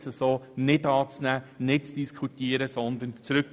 Ich wünsche Ihnen einen guten Heimweg und einen schönen Abend.